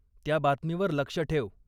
त्या बातमीवर लक्ष ठेव.